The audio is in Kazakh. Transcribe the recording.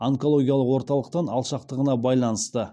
онкологиялық орталықтан алшақтығына байланысты